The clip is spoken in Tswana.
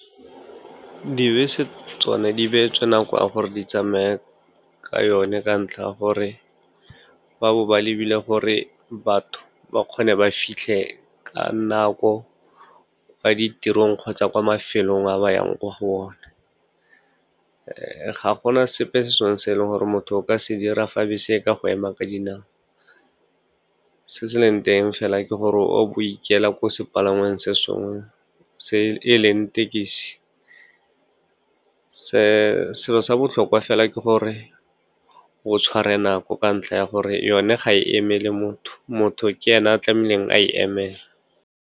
Dibese tsone di beetswe nako ya gore di tsamaya ka yone ka ntlha ya gore ba bo ba lebile gore batho ba kgone ba fitlhe ka nako kwa ditirong kgotsa kwa mafelong a ba yang kwa go one. Ga gona sepe se sengwe se e leng gore motho o ka se dira fa bese e ka go ema ka dinao, se se leng teng fela ke gore o go ikela ko sepalangweng se sengwe e leng e thekisi. Selo sa botlhokwa fela ke gore o tshware nako ka ntlha ya gore yone ga e emele motho, motho ke ene a tlamehileng a e emele.